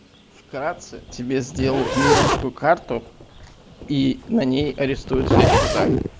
вкратце тебе сделают мировую карту и на ней арестовать все счета